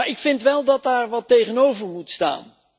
Ik vind wel dat daar wat tegenover moet staan.